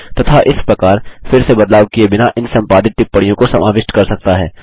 तथा इस प्रकार फिर से बदलाव किये बिना इन संपादित टिप्पणियों को समाविष्ट कर सकता है